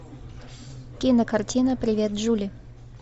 кинокартина привет джули